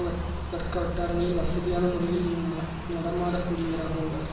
வர் வர்க்க வட்டாரங்களில் வசதியான முறையில் ந நடமாடக் கூடியவராக உள்ளார்